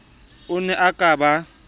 o ne o ka ba